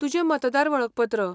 तुजें मतदार वळखपत्र.